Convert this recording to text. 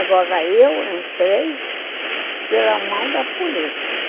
Agora eu entrei pela mão da política.